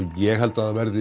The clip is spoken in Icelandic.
ég held að það verði